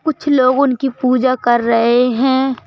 कुछ लोग उनकी पूजा कर रहे हैं।